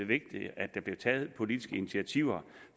vigtigt at der blev taget politiske initiativer